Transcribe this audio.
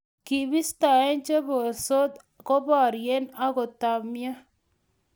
kibistoi che borsot ko borio agoi kotamio